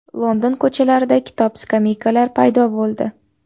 London ko‘chalarida kitob-skameykalar paydo bo‘ldi.